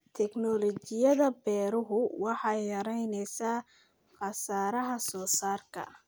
Tignoolajiyada beeruhu waxay yaraynaysaa khasaaraha soosaarka.